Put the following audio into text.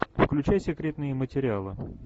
включай секретные материалы